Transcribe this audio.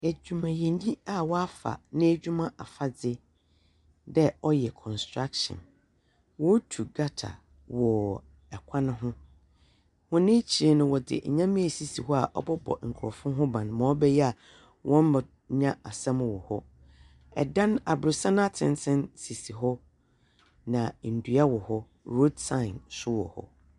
Edwumayɛ nyi a wafa n'edwuma afadze dɛ ɔyɛ kɔnstrakshɛn. Wɔretu gata wɔ kwan ho. Wɔn ekyir no wɔde nyɛma esisi hɔ a ɔbɛbɔ nkurɔfo ho ban mrɛ ɔbɛyɛ a wɔ mmenya asɛm wɔ hɔ. Ɛdan abrosan atsentsen sisi hɔ, na ndua wɔ hɔ, rood sine nso wɔ hɔ.